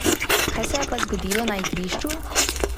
Kaj se je pa zgodilo na igrišču?